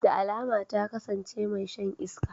Da alama ta kasance mai shan iska.